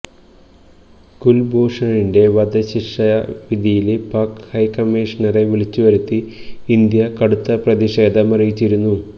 കുല്ഭൂഷണിന്റെ വധശിക്ഷ വിധിയില് പാക്ക് ഹൈക്കമ്മീഷണറെ വിളിച്ചു വരുത്തി ഇന്ത്യ കടുത്ത പ്രതിഷേധമറിയിച്ചിരുന്നു